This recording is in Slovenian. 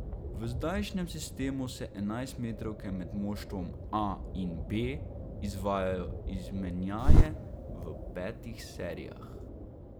V zdajšnjem sistemu se enajstmetrovke med moštvoma A in B izvajajo izmenjaje v petih serijah.